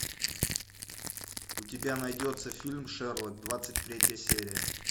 у тебя найдется фильм шерлок двадцать третья серия